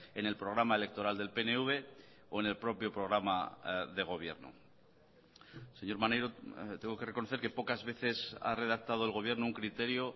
en el programa electoral del pnv o en el propio programa de gobierno señor maneiro tengo que reconocer que pocas veces ha redactado el gobierno un criterio